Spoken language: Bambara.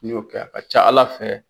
N'i y'o kɛ a ka ca Ala fɛ